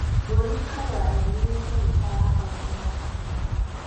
Boni Khalwale nĩwe seneta wa kaũntĩ ya Kakamega.